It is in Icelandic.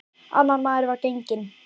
Annar maður var genginn upp á loftið.